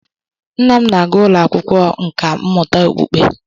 Nna m na-aga ụlọ akwụkwọ nkà mmụta okpukpe